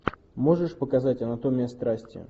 можешь показать анатомия страсти